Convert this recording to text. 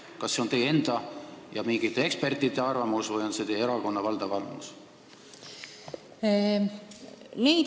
Kas see on ka teie enda ja mingite ekspertide arvamus või on see teie erakonna valdav arvamus?